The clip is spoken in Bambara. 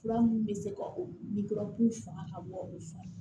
Fura mun bɛ se ka o faga ka bɔ o fa